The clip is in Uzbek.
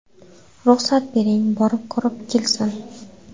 Ruxsat bering, borib, ko‘rib kelsin.